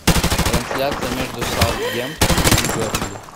трансляция между саутгемптон и бернли